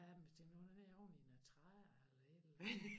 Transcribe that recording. Ja men hvis det nu er oveni nogle træer eller et eller andet